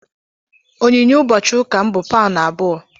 Onyinye ụbọchị ụka m bụ paụnụ abụọ.